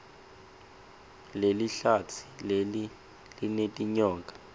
lelihlatsi leli linetinyoka